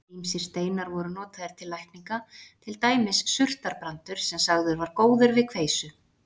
Ýmsir steinar voru notaðir til lækninga, til dæmis surtarbrandur sem sagður var góður við kveisu.